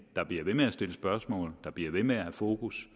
bliver ved med at stille spørgsmål som bliver ved med at have fokus